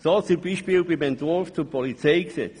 So beispielsweise beim Entwurf zum Polizeigesetz.